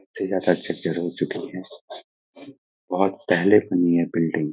हो चुकी है बहुत पहले बनी है बिल्डिग ।